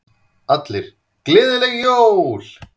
Allir: Gleðileg Jól.